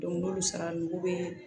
n'olu sara n'u bɛ